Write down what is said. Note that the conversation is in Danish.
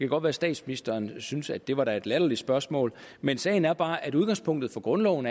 godt være statsministeren synes at det da var et latterligt spørgsmål men sagen er bare at udgangspunktet for grundloven